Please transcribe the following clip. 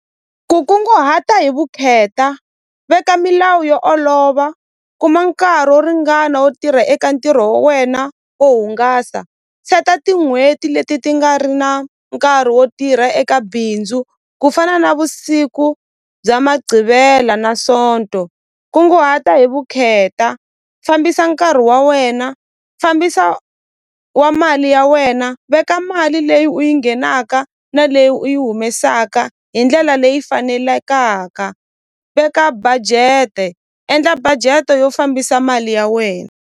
Ku kunguhata hi vukheta veka milawu yo olova kuma nkarhi wo ringana wo tirha eka ntirho wa wena wo hungasa seta tin'hweti leti ti nga ri na nkarhi wo tirha eka bindzu ku fana navusiku bya na sonto kunguhata hi vukheta fambisa nkarhi wa wena fambisa wa mali ya wena veka mali leyi u yi nghenaka na leyi u yi humesaka hi ndlela leyi fanelekaka veka budget-e endla budget-e yo fambisa mali ya we.